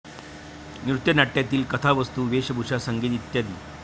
नृत्यनाट्यातील कथावस्तू, वेशभूषा, संगीत इ.